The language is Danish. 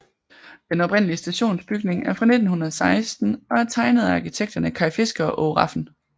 Den oprindelige stationsbygning er fra 1916 og tegnet af arkitekterne Kay Fisker og Aage Rafn